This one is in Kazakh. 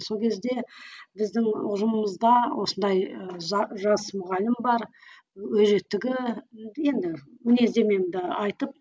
сол кезде біздің ұжымымызда осындай ы жас мұғалім бар өжеттігі енді мінездемемді айтып